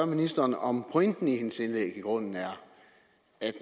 ministeren om pointen i hendes indlæg i grunden er at